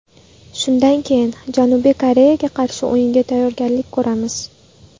Shundan keyin Janubiy Koreyaga qarshi o‘yinga tayyorgarlik ko‘ramiz.